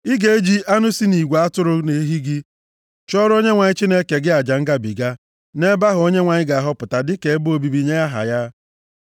Ị ga-eji anụ si nʼigwe atụrụ na ehi gị chụọrọ Onyenwe anyị Chineke gị aja ngabiga nʼebe ahụ Onyenwe anyị ga-ahọpụta dịka ebe obibi nye aha ya.